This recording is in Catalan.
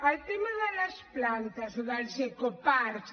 el tema de les plantes o dels ecoparcs